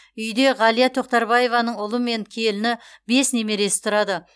үйде ғалия тоқтарбаеваның ұлы мен келіні бес немересі тұрады